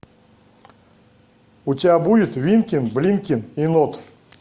у тебя будет винкин блинкин и нод